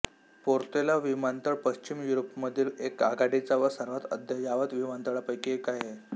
Portela विमानतळ पश्चिम युरोपामधील एक आघाडीचा व सर्वात अद्ययावत विमानतळांपैकी एक आहे